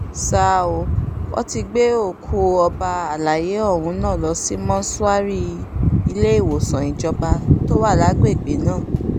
ṣá ò wọ́n ti gbé òkú ọba àlàyé ọ̀hún lọ sí mọ́ṣúárì iléèwọ̀sán ìjọba tó wà lágbègbè náà